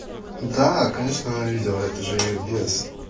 да конечно она видела это же её бес